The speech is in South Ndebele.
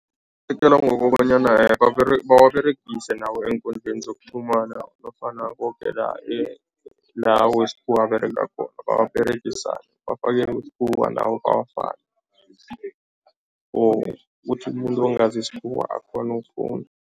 Ngokobanyana bawaberegise nawo eenkundleli zokuqhumana nofana koke la la wesikhuwa aberega khona abawaberegisako, bafake wesikhuwa nawo bawafake ukuthi umuntu ongazi isikhuwa akghone ukufunda.